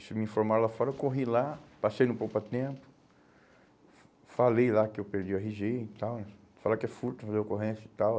Isso me informaram lá fora, eu corri lá, passei no, fa falei lá que eu perdi o erre gê e tal, e falaram que é furto e fazer ocorrência e tal.